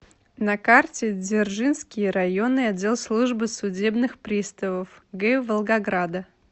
на карте дзержинский районный отдел службы судебных приставов г волгограда